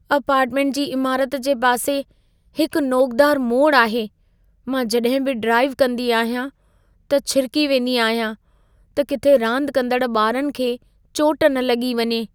Apartment जी इमारति जे पासे हिक नोकदार मोड़ आहे। मां जॾहिं बि ड्राइव कंदी आहियां, त छिरिकी वेंदी आहियां, त किथे रांदु कंदड़ु ॿारनि खे चोट न लॻी वञे।